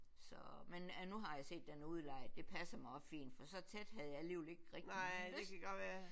Så men nu har jeg set den udlejet det passer mig også fint for så tæt havde jeg alligevel ikke rigtig lyst